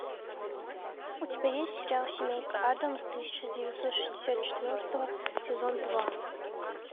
у тебя есть сериал семейка адамс тысяча девятьсот шестьдесят четвертого сезон два